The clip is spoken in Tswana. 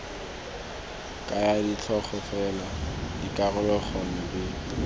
kaya ditlhogo fela dikaroganyo di